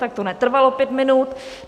Tak to netrvalo pět minut.